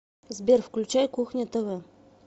сбер включай кухня тв